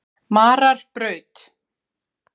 Mararbraut